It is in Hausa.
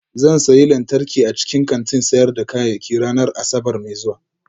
Zan sayi lantarki a cikin kantin sayar da kayayyaki ranar Asabar mai zuwa